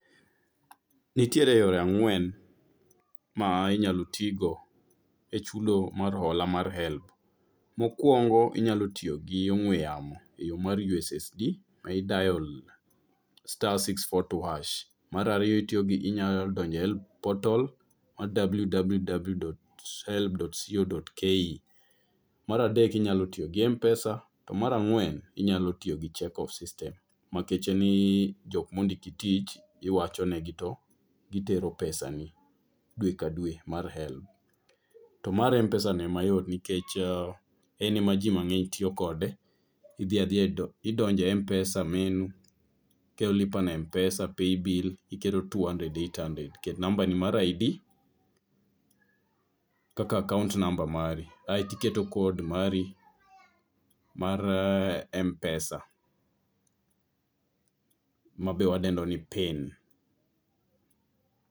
Nitiere yore ang'wen ma inyalo tigo e chudo mar hola mar HELB. Mokwongo inyalo tiyo gi ong'we yamo e yo mar USSD ma i dial star six four two hash. Marariyo itiyo gi inya donje HELB potol, mar www.helb.co.ke. Maradek inyalo tiyo gi Mpesa, to marang'wen inyalo tiyo gi check off system. Makeche ni jok mondiki tich, iwacho negi to gitero pesa ni dwe ka dwe mar HELB. To mar Mpesa ni ema yot, nikech en ema ji mang'eny tiyomkode. Idhi adhiya e do, idonje Mpesa menu, iketo Lipa na Mpesa, paybill iketo two hundred eight hundred. Ket namba ni mar ID, kaka akaont number mari. Kaeti keto kod mari mar Mpesa, ma be wadendo ni pin.